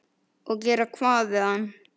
Og gera hvað við hann?